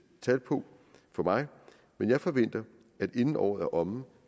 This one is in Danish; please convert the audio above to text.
tal på men jeg forventer at inden året er omme